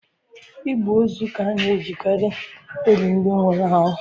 Igbe ozu ka a na-ejikarị eli ndị nwụrụ anwụ.